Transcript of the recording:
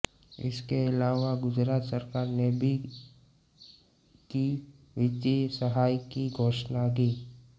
इसके अलावा गुजरात सरकार ने भी की वित्तीय सहायता की घोषणा की